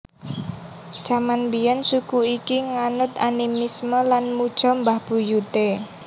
Jaman biyen suku iki nganut animisme lan muja mbah buyute